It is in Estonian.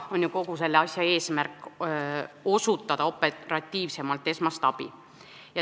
Kogu selle asja eesmärk on ju osutada operatiivsemalt esmast abi.